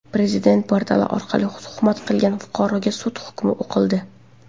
Prezident portali orqali tuhmat qilgan fuqaroga sud hukmi o‘qildi.